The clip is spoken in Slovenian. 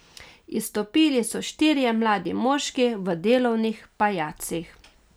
Izstopili so štirje mladi moški v delovnih pajacih.